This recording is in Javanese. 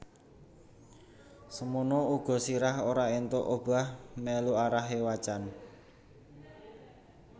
Semono uga sirah ora entuk obah melu arahe wacan